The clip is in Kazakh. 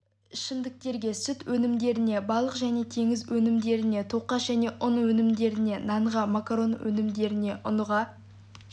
ішімдіктерге сүт өнімдеріне балық және теңіз өнімдеріне тоқаш және ұн өнімдеріне нанға макарон өнімдеріне ұнға